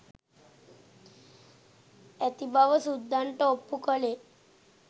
ඇති බව සුද්දන්ට ඔප්පු කළේ